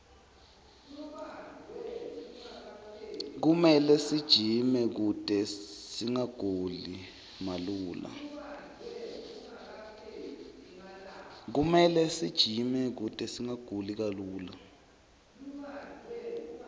kumele sijime kute singaguli malula